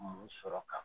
Mun sɔrɔ ka